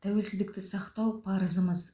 тәуелсіздікті сақтау парызымыз